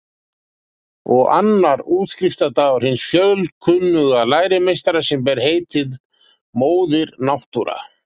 Og annar útskriftardagur hins fjölkunnuga lærimeistara sem ber heitið Móðir Náttúra.